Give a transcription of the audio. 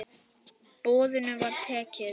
Boðinu var tekið.